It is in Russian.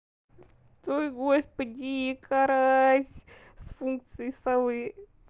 ой господи карась с функцией совы